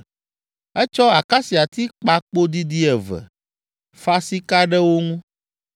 Etsɔ akasiati kpa kpo didi eve, fa sika ɖe wo ŋu,